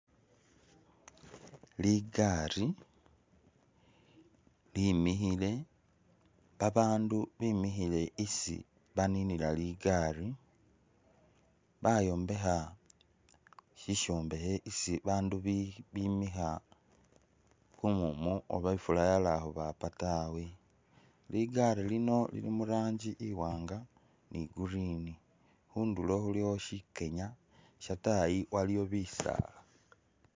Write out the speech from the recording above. Ligaari limikhile, babandu bemikhile isi baninila ligari, bayombekha sisyombekhe isi abandu bi bimikha kumumu oba ifula yata khubaapa tawe. Ligaari lino lili mu rangi iwanga ni green. Khundulo khulikho syikenya, syataayi waliwo bisaala.